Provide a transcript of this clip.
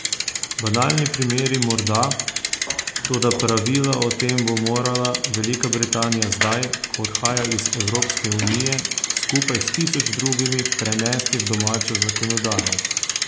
Banalni primeri morda, toda pravila o tem bo morala Velika Britanija zdaj, ko odhaja iz Evropske unije, skupaj s tisoč drugimi prenesti v domačo zakonodajo.